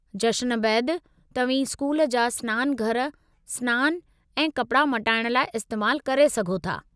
जश्न बैदि तव्हीं स्कूल जा स्नानघर स्नान ऐं कपड़ा मटण लाइ इस्तैमालु करे सघो था।